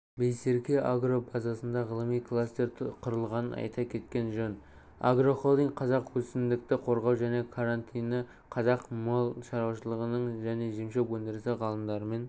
байсерке-агро базасында ғылыми кластер құрылғанын айта кеткен жөн агрохолдинг қазақ өсімдікті қорғау және карантині қазақ мал шаруашылығы және жемшөп өндірісі ғалымдарымен